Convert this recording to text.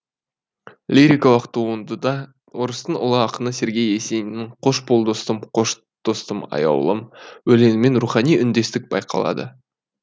лирикалық туындыда орыстың ұлы ақыны сергей есениннің қош бол достым қош достым аяулым өлеңімен рухани үндестік байқалады